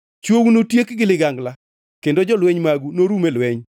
Chwou notiek gi ligangla kendo jolweny magu norum e lweny.